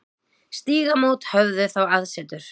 Stígamót höfðu þá aðsetur.